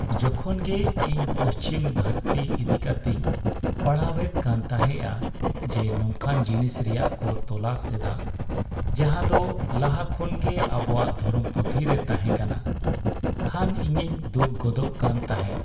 ᱡᱚᱠᱷᱚᱱ ᱜᱮ ᱤᱧ ᱯᱚᱪᱷᱤᱢ ᱫᱷᱟᱹᱨᱛᱤ ᱤᱫᱤ ᱠᱟᱛᱮᱧ ᱯᱟᱲᱦᱟᱣᱮᱫ ᱠᱟᱱ ᱛᱟᱦᱮᱸᱜᱼᱟ ᱡᱮ ᱱᱚᱝᱠᱟᱱ ᱡᱤᱱᱤᱥ ᱨᱮᱭᱟᱜ ᱠᱚ "ᱛᱚᱞᱟᱥ" ᱮᱫᱟ ᱡᱟᱦᱟᱸᱫᱚ ᱞᱟᱦᱟ ᱠᱷᱚᱱ ᱜᱮ ᱟᱵᱚᱣᱟᱜ ᱫᱷᱚᱨᱚᱢ ᱯᱩᱛᱷᱤ ᱨᱮ ᱛᱟᱦᱮᱸᱠᱟᱱᱟ, ᱠᱷᱟᱱ ᱤᱧᱤᱧ ᱫᱩᱠ ᱜᱚᱫᱚᱜ ᱠᱟᱱ ᱛᱟᱦᱮᱸᱜ ᱾